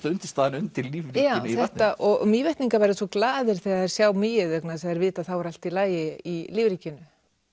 undirstaðan undir lífríkinu í vatninu já og Mývetningar verða svo glaðir þegar þeir sjá mýið vegna þess að þeir vita að þá er allt í lagi í lífríkinu